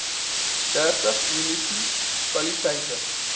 dertig munisi paliteite